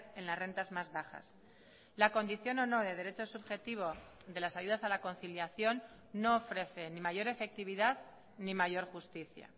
en las rentas más bajas la condición o no de derechos subjetivo de las ayudas a la conciliación no ofrece ni mayor efectividad ni mayor justicia